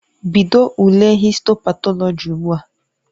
Bido ule histo patọlọji ugbu a!